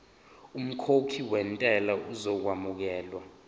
umkhokhi wentela uzokwamukelwa